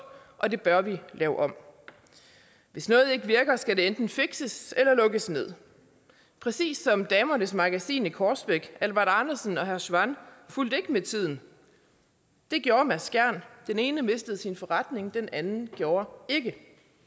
og det bør vi lave om hvis noget ikke virker skal det enten fikses eller lukkes ned præcis som damernes magasin i korsbæk albert arnesen og herre schwann fulgte ikke med tiden det gjorde mads andersen skjern den ene mistede sin forretning den anden gjorde ikke